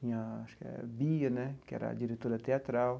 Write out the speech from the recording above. Tinha acho que é Bia né, que era a diretora teatral.